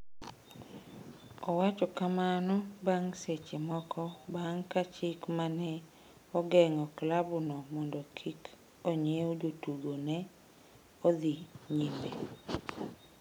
Owacho kamano bang’ seche moko bang’ ka chik ma ne ogeng’o klabno mondo kik onyiew jotugo ne odhi nyime.